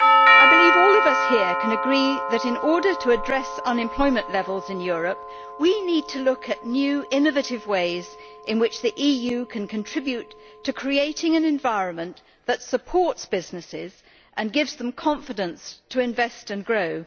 I believe all of us here can agree that in order to address unemployment levels in Europe we need to look at new, innovative ways in which the EU can contribute to creating an environment that supports businesses and gives them confidence to invest and grow.